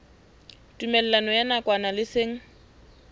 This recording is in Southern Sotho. tumellano ya nakwana le seng